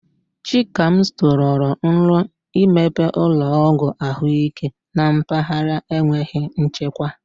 Chikamso rọrọ nrọ imepe ụlọọgwụ ahụike na mpaghara enweghị nchekwa.